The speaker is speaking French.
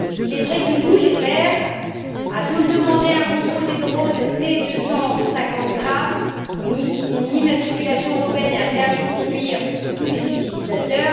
Il est vrai que nous les Verts avions demandé un contrôle des drones dès 250 grammes, une immatriculation européenne et un permis de conduire pour tous les utilisateurs.